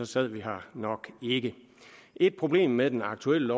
sad vi her nok ikke et problem med det aktuelle